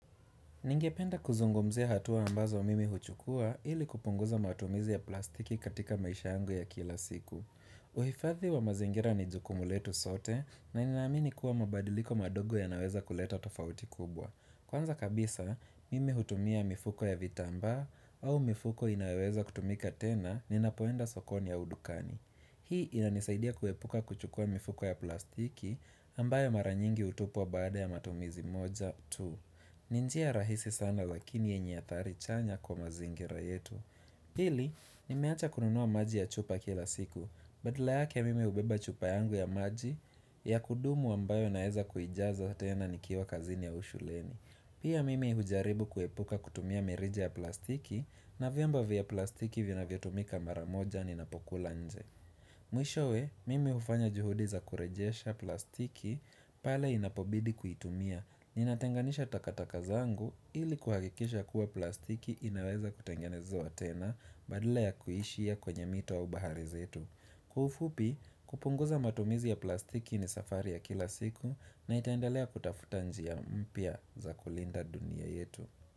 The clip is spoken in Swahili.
Ningependa kuzungumzia hatua ambazo mimi huchukua ili kupunguza matumizi ya plastiki katika maisha yangu ya kila siku. Uhifathi wa mazingira ni jukumu letu sote na ninaamini kuwa mabadiliko madogo ya naweza kuleta tofauti kubwa. Kwanza kabisa, mimi hutumia mifuko ya vitambaa au mifuko inayoweza kutumika tena ni napoenda sokoni au dukani. Hii inanisaidia kuepuka kuchukua mifuko ya plastiki ambayo maranyingi hutupwa baada ya matumizi moja tu. Ninjia rahisi sana lakini yenye athari chanya kwa mazingira yetu Pili, nimeacha kununua maji ya chupa kila siku Badala yake mimi hubeba chupa yangu ya maji ya kudumu ambayo naeza kuijaza tena nikiwa kazini au shuleni Pia mimi hujaribu kuepuka kutumia mirija ya plastiki na vyombo vya plastiki vina vyo tumika maramoja ni napokula nje Mwishowe, mime hufanya juhudi za kurejesha plastiki pale inapobidi kuitumia Ninatenganisha takataka zangu ili kuhakikisha kuwa plastiki inaweza kutengenezewa tena badala ya kuishia kwenye mito au bahari zetu Kwa ufupi kupunguza matumizi ya plastiki ni safari ya kila siku na nitaendalea kutafuta njia mpya za kulinda dunia yetu.